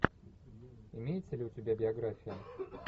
имеется ли у тебя биография